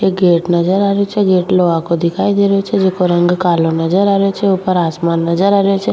एक गेट नजर आ रियो छे गेट लोहा को दिखाई दे रहियो छे जेको रंग कालो नजर आ रहियो छे ऊपर आसमान नजर आ रहियो छे।